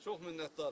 Çox minnətdaram.